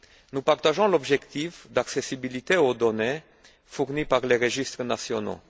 Nous partageons l'objectif d'accessibilité aux données fournies par les registres nationaux.